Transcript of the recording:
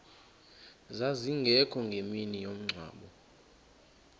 zazingekho ngemini yomngcwabo